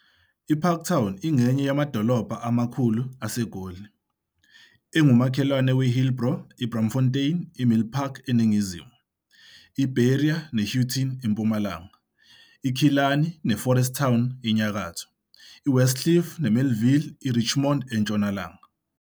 IParktown ingenye yamadolobhana amakhulu aseGoli, engumakhelwane we-Hillbrow, IBraamfontein I-Milpark eningizimu, IBerea ne-Houghton eMpumalanga, IKillarney neForest Town enyakatho, I-Westcliff, IMelville IRichmond entshonalanga.